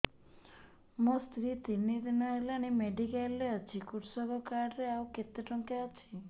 ମୋ ସ୍ତ୍ରୀ ତିନି ଦିନ ହେଲାଣି ମେଡିକାଲ ରେ ଅଛି କୃଷକ କାର୍ଡ ରେ ଆଉ କେତେ ଟଙ୍କା ଅଛି